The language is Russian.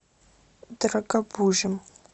дорогобужем